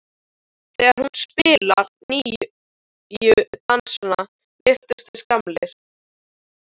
Þegar hún spilaði nýju dansana virtust þeir gamlir.